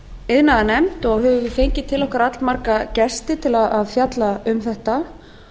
iðnaðarnefnd og höfum við fengið til okkar allmarga gesti til að fjalla um þetta